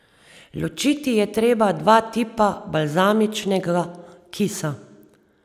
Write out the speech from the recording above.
Ločiti je treba dva tipa balzamičnega kisa.